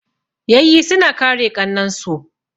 Yayyi suna kare ƙannan su.